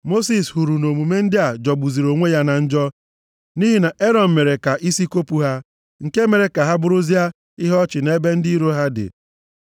Mosis hụrụ na omume ndị a jọgbuziri onwe ya na njọ nʼihi na Erọn mere ka isi kopu ha. Nke mere ka ha bụrụzia ihe ọchị nʼebe ndị iro ha dị.